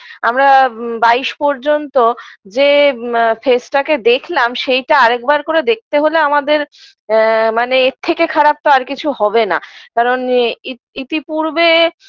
আমরা বাইশ পর্যন্ত যে আ face -টাকে দেখলাম সেইটা আরেকবার করে দেখতে হলে আমাদের আ মানে এর থেকে খারাপ তো আর কিছু হবে না কারণ ইত ইতিপূর্বে